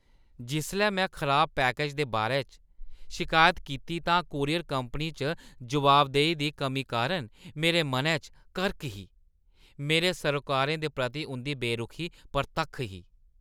जिसलै में खराब पैकेज दे बारै च शिकायत कीती तां कूरियर कंपनी च जवाबदेही दी कमी कारण मेरे मनै च करक ही। मेरे सरोकारें दे प्रति उंʼदी बेरुखी परतक्ख ही।